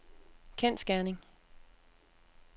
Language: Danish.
kendsgerning